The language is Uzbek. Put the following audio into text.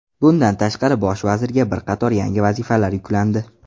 Bundan tashqari, bosh vazirga bir qator yangi vazifalar yuklandi.